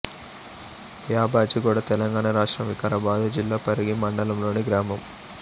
యాబాజీగూడ తెలంగాణ రాష్ట్రం వికారాబాదు జిల్లా పరిగి మండలంలోని గ్రామం